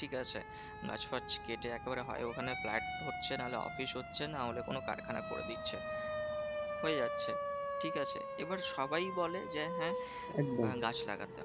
ঠিকাছে? গাছ ফাছ কেটে একেবারে হয় ওখানে flat হচ্ছে নাহলে অফিস হচ্ছে নাহলে কোনো কারখানা করে দিচ্ছে। হয়ে যাচ্ছে, ঠিকাছে? এবার সবাই বলে যে হ্যাঁ গাছ লাগাতে হবে।